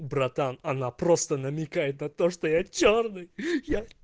братан она просто намекает на то что я чёрный